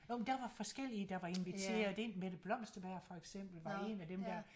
Jo men der var forskellige der var inviteret ind Mette Blomsterberg for eksempel var en af dem der